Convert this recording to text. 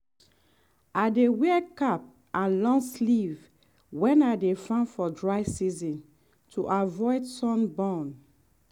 i dey wear cap and long sleeve when i dey farm for dry season to avoid sun burn.